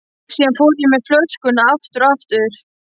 Síðan fór ég með flöskuna aftur fram.